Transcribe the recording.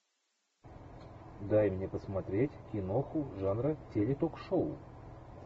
дай мне посмотреть киноху жанра теле ток шоу